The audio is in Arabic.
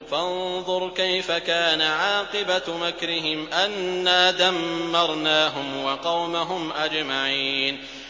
فَانظُرْ كَيْفَ كَانَ عَاقِبَةُ مَكْرِهِمْ أَنَّا دَمَّرْنَاهُمْ وَقَوْمَهُمْ أَجْمَعِينَ